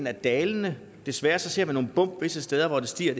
er dalende desværre ser vi nogle bump visse steder hvor den stiger